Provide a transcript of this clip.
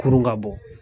Kurun ka bɔ